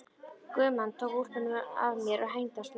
Guðmann tók úlpuna af mér og hengdi á snaga.